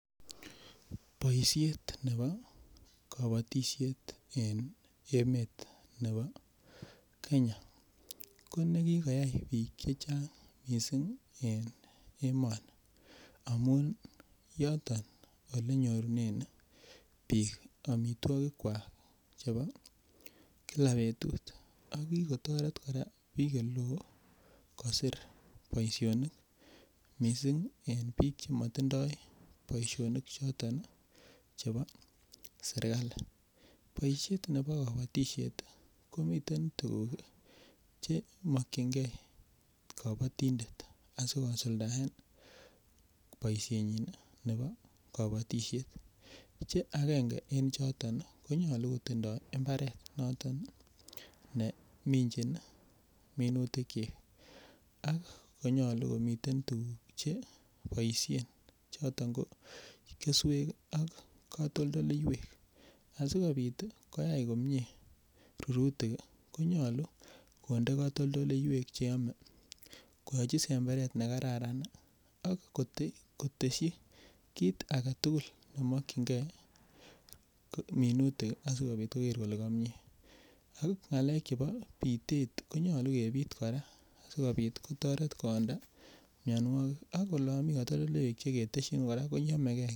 Boishet nebo kobotishet en emet nebo Kenya kone kikoyai biik chechang mising en emoni amun yoton olenyorunen biik amitwokikwak chebo kila betut ak kikotoret kora biik eleo kosir boishonik mising en biik chemotindo boishonik choton chebo serikali, boishet nebo kobotishet komiten tukuk che mokyinge kobotindet asikosuldaen boishenyin nebo kobotishet che akenge en choton konyolu kotindo imbaret noton neminchin minutikyik ak konyolu komiten tukuk cheboishen choton o keswek ak katoldoleiwek asikobit koyai komnye rurutik konyolu konde katoldoleiwek cheyome koyochi semberet nekararan ak koteshi kiit aketukul nemokyinge minutik asikoker kolee kobwa komie, ak ngalek chebo bitet konyolu kebit kora sikobit kotoret koonda mionwokik ak olon mii kotoldoleiwek cheketeshin koyomeke.